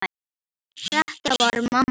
Þetta var amma.